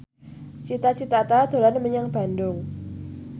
Cita Citata dolan menyang Bandung